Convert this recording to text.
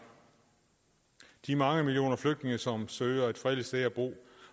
de mange millioner flygtninge som søger et fredeligt sted at bo